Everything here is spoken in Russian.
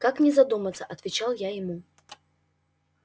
как не задуматься отвечал я ему